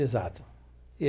Exato e.